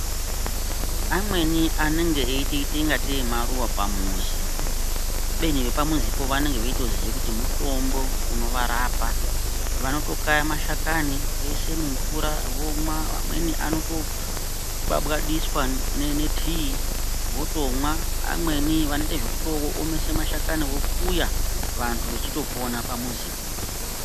Amweni anenge eyitoite kungete maruva pamizi kubeni vepa muzi po vanenge veiyoziya kuti mutombo unova rapa vanoto kaya mashakani voishe mu mvura vomwa vamweni anoto kabadiswa ne tea votomwa amweni vanoite zvekuto omese mashakani vokuya vantu vechito pona pamuzipo.